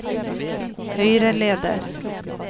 høyreleder